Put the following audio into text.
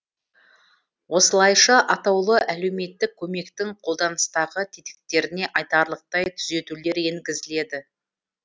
осылайша атаулы әлеуметтік көмектің қолданыстағы тетіктеріне айтарлықтай түзетулер енгізіледі